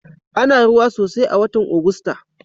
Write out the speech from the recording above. Ana ruwa sosai a watan Ogusta.